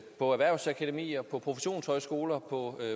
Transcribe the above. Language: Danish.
på erhvervsakademier på professionshøjskoler på